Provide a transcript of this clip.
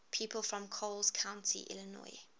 people from coles county illinois